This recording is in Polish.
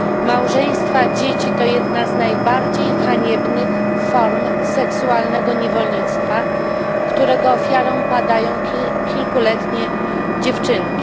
Małżeństwa dzieci to jedna z najbardziej haniebnych form seksualnego niewolnictwa, którego ofiarą padają kilkuletnie dziewczynki.